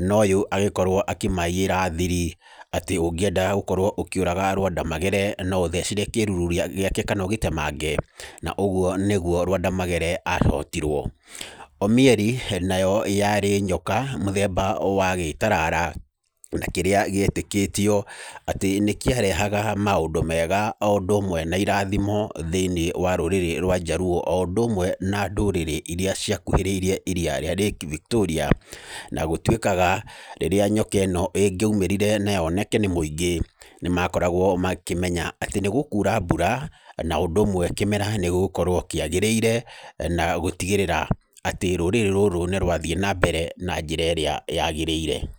Na ũyũ agĩkorwo akĩmaiyĩra thiri, atĩ ũngĩenda gũkorwo ũkĩũraga Lwanda Magere, no ũthecire kĩruru gĩake kana ũgĩtemange. Na ũguo nĩguo Lwanda Magere ahotirwo. Omieri nayo yarĩ nyoka mũthemba wa gĩtarara, na kĩrĩa gĩetĩkĩtio, atĩ nĩ kĩarehaga maũndũ mega o ũndũ ũmwe na irathimo thĩiniĩ wa rũrĩrĩ rwa Njaluo, o ũndũ ũmwe na ndũrĩrĩ irĩa ciakuhĩrĩirie iriia rĩa lake Victoria. Na gũtuĩkaga, rĩrĩa nyoka ĩno ĩngĩamĩrire na yoneke nĩ mũingĩ, nĩ makoragwo makĩemnya, atĩ nĩ gũkuura mbura, na ũndũ ũmwe kĩmera nĩ gũgũkorwo kĩagĩrĩire, na gũtigĩrĩra atĩ rũrĩrĩ rũrũ nĩ rwathiĩ na mbere na njĩra ĩrĩa yagĩrĩire.